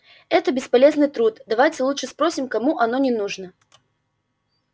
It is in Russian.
это бесполезный труд давайте лучше спросим кому оно не нужно